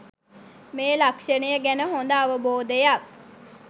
මේ ලක්‍ෂණය ගැන හොඳ අවබෝධයක්